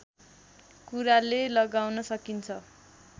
कुराले लगाउन सकिन्छ